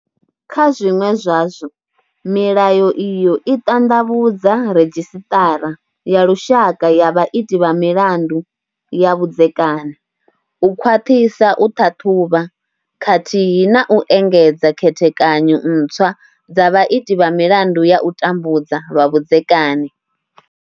Kha zwiṅwe zwazwo, milayo iyo i ṱanḓavhudza redzhisiṱara ya lushaka ya vhaiti vha milandu ya vhudzekani, u khwaṱhisa u ṱhaṱhuvha, khathihi na u engedza khethekanyo ntswa dza vhaiti vha milandu ya u tambudza lwa vhudzekani.